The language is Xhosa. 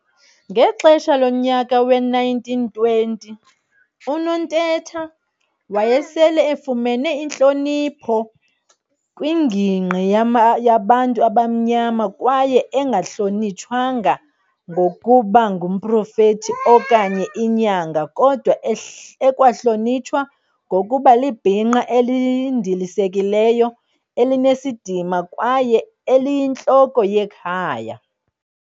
Ngexesha lonyaka we-1920, uNontetha wayesele efumene intlonipho kwingingqi yabantu abamnyama kwaye engahlonitshwanga ngokuba ngumprofeti okanye inyanga kodwa ekwahlonitshwa ngokuba libhinqa elindilisekileyo elinesidima kwaye eliyintloko yekhaya.